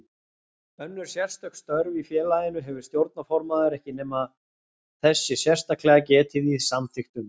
Önnur sérstök störf í félaginu hefur stjórnarformaður ekki nema þess sé sérstaklega getið í samþykktunum.